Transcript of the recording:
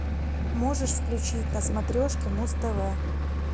можешь включить на смотрешке муз тв